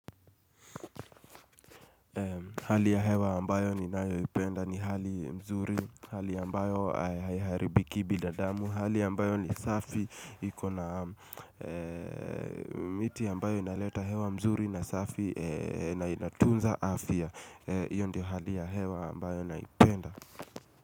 Hali ya hewa ambayo ninayoipenda ni hali mzuri, hali ambayo haiharibikii bidadamu, hali ya ambayo ni safi iko na miti ya ambayo inaleta hewa mzuri na safi na inatunza afya. Hiyo ndio hali ya hewa ambayo naipenda.